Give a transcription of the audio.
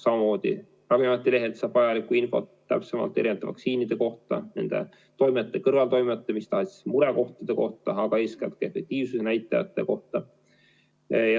Samamoodi Ravimiameti lehelt saab vajalikku täpsemat infot erinevate vaktsiinide kohta, nende toimete, kõrvaltoimete, mis tahes murekohtade kohta, aga eeskätt efektiivsuse näitajate kohta.